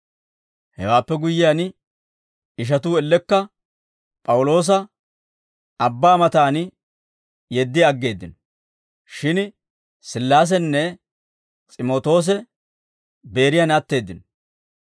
Hewaappe guyyiyaan, ishatuu ellekka P'awuloosa abbaa mataan yeddi aggeeddino; shin Sillaasenne S'imootoose Beeriyan atteeddino.